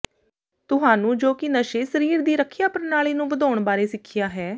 ਤੁਹਾਨੂੰ ਜੋ ਕਿ ਨਸ਼ੇ ਸਰੀਰ ਦੀ ਰੱਖਿਆ ਪ੍ਰਣਾਲੀ ਨੂੰ ਵਧਾਉਣ ਬਾਰੇ ਸਿੱਖਿਆ ਹੈ